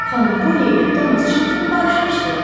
Xanım Poli ilə Tomas Çilton barışmışdılar.